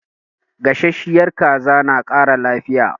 Gasasshiyar kaza na ƙara lafiya.